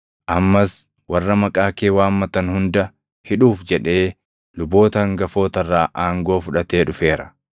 Ammas warra maqaa kee waammatan hunda hidhuuf jedhee luboota hangafoota irraa aangoo fudhatee dhufeera.”